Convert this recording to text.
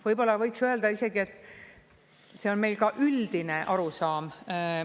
Võib-olla võiks öelda isegi, et see on meil ka üldine arusaam.